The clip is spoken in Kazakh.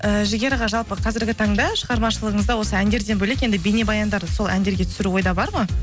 ііі жігер аға жалпы қазіргі таңда шығармашылығыңызда осы әндерден бөлек енді бейнебаяндар сол әндерге түсіру ойда бар ма